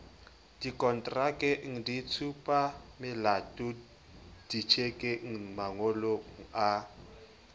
dikontrakeng ditshupamelatong ditjhekeng mangolong a